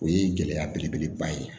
O ye gɛlɛya belebeleba ye